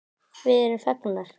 Við erum fegnar.